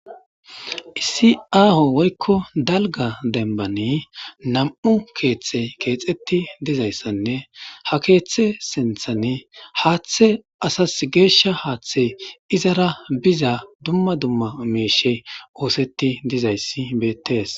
Issi aaho woykko dalgga dembbani nam7u keeththi keexeththi dizayssanne ha keeththee sinththani haaththee asassi geeshsha haaththee izara biza dumma dumma miishshee ooseththi dizayssi beeththees.